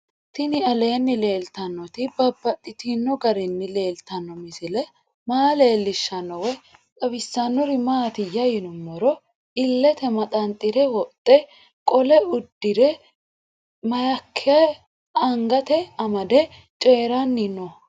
Tinni aleenni leelittannotti babaxxittinno garinni leelittanno misile maa leelishshanno woy xawisannori maattiya yinummoro ilitte maxanxxire wodhe qolo udirre mayiikke angatte amade coyiiranni noo